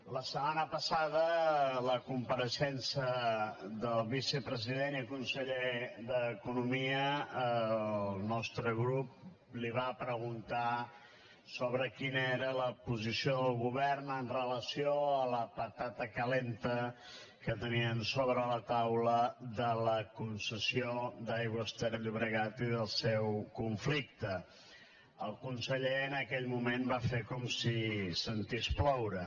la setmana passada a la compareixença del vicepresident i conseller d’economia el nostre grup li va preguntar quina era la posició del govern amb relació a la patata calenta que tenien sobre la taula sobre la concessió d’aigües ter llobregat i el seu conflicte el conseller en aquell moment va fer com si sentís ploure